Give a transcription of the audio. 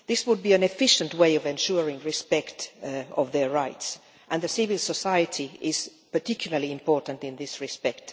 This would be an efficient way of ensuring respect for their rights, and civil society is particularly important in this respect.